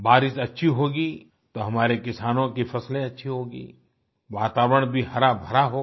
बारिश अच्छी होगी तो हमारे किसानों की फसलें अच्छी होंगी वातावरण भी हराभरा होगा